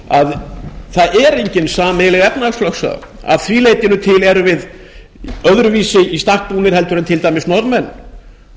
svo að það er engin sameiginleg efnahagslögsaga að því leytinu til erum við öðruvísi í stakk búnir heldur en til dæmis norðmenn